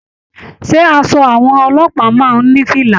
Ṣé aṣọ àwọn ọlọ́pàá máa n ní fìlà?